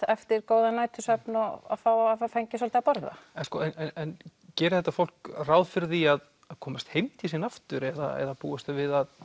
eftir góðan nætursvefn og að hafa fengið svolítið að borða en gerir þetta fólk ráð fyrir því að komast heim til sín aftur eða búast þau við að